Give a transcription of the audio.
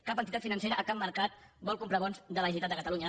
cap entitat financera a cap mercat vol comprar bons de la generalitat de catalunya